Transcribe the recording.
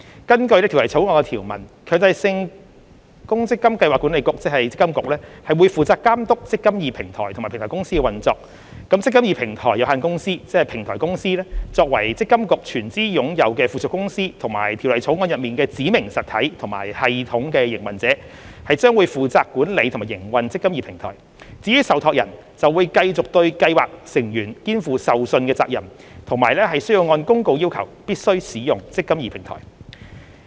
根據《條例草案》的條文，強制性公積金計劃管理局將負責監督"積金易"平台及積金易平台有限公司的運作；平台公司作為積金局全資擁有的附屬公司及《條例草案》中的"指明實體"及"系統營運者"，將負責管理和營運"積金易"平台；至於受託人，則繼續對計劃成員肩負受信責任，以及須按公告要求必須使用"積金易"平台。